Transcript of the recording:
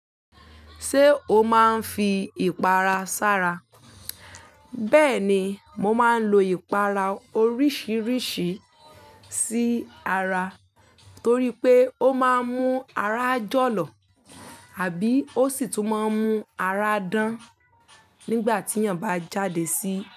Sé o máa ń fi ìpara sára? Bẹ́ẹ̀ni, mo máa ń lo ìpara oríṣìíríṣìí sí ara torí pé ó máa ń mú ara jọ̀lọ̀ àbí ó sì tún máa ń mú ara dán nígbà tí èèyàn bá jáde sí.